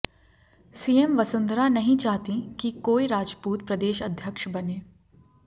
CM Vasundhara नहीं चाहती कि कोई राजपूत प्रदेश अध्यक्ष बने